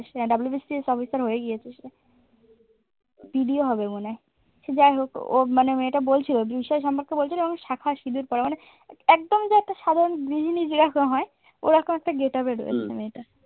WBCS officer হয়ে গিয়েছে BDO হবে মনে হয় সে যাই হোক ও মানে মেয়েটা বলছিল সম্পর্কে বলছিল শাখার সিঁদুর পড়া মানে একদম যে একটা সাধারণ গৃহিণী যেরকম হয় ওরকম একটা get up এ রয়েছে